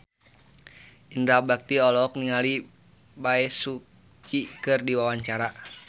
Indra Bekti olohok ningali Bae Su Ji keur diwawancara